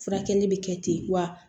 Furakɛli bɛ kɛ ten wa